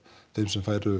þeim sem færu